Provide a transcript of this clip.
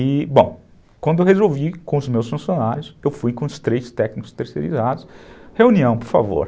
E, bom, quando eu resolvi com os meus funcionários, eu fui com os três técnicos terceirizados, reunião, por favor.